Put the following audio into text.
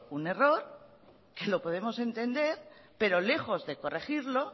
un error que lo podemos entender pero lejos de corregirlo